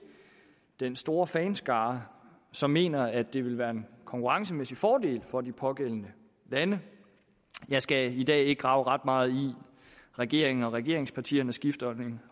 den store fanskare som mener at det vil være en konkurrencemæssig fordel for de pågældende lande jeg skal i dag ikke grave ret meget i at regeringen og regeringspartierne skifter